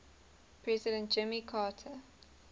president jimmy carter